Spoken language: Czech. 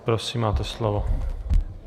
Prosím, máte slovo.